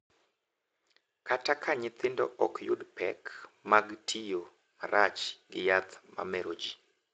Kata ka nyithindo ok yud pek mag tiyo marach gi yath ma mero ji,